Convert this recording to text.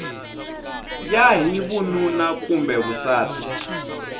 ya hi vununa kumbe vusati